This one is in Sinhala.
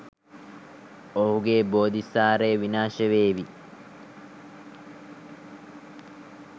ඔහුගේ බෝධිසාරය විනාශ නොවේ.